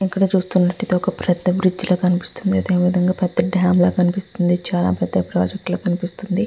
ఇక్కడ మనము చునట్టు ఏఉతి మనకు ఇక్కడ పేద డం కనిపెస్తునది. మనకు ఇక్కడ ఏది చాల పేద ప్రాజెక్ట్ లాగా కనిపెస్తునది.